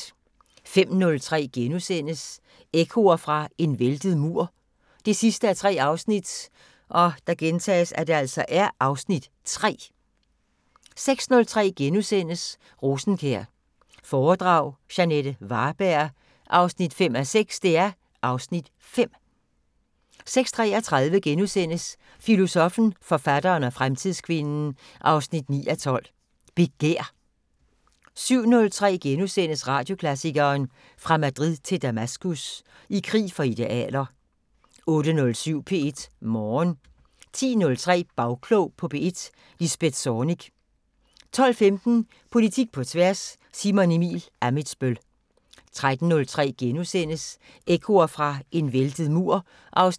05:03: Ekkoer fra en væltet mur 3:3 (Afs. 3)* 06:03: Rosenkjær foredrag – Jeanette Varberg 5:6 (Afs. 5)* 06:33: Filosoffen, forfatteren og fremtidskvinden 9:12: Begær * 07:03: Radioklassikeren: Fra Madrid til Damaskus – I krig for idealer * 08:07: P1 Morgen 10:03: Bagklog på P1: Lisbeth Zornig 12:15: Politik på tværs: Simon Emil Ammitzbøll 13:03: Ekkoer fra en væltet mur 3:3